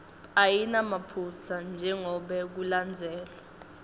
ayinamaphutsa njengobe kulandzelwe